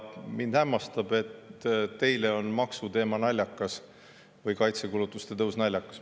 Mind hämmastab, et teile on maksuteema või kaitsekulutuste tõus naljakas.